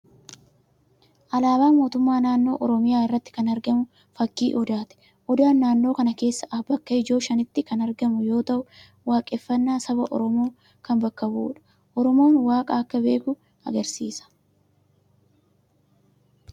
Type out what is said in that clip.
Alaabaa Mootummaa naannoo Oromiyaa irratti kan argamu fakkii Odaati. Odaan naannoo kana keessa bakka ijoo shanitti kan argamu yoo ta'u, waaqeffannaa saba Oromoo kan bakka bu'udha. Oromoon waaqa akka beeku agarsiisa.